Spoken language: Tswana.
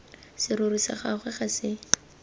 serori sa gagwe ga se